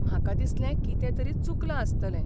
म्हाका दिसलें कितें तरी चुकलां आसतलें.